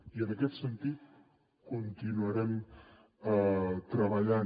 i en aquest sentit hi continuarem treballant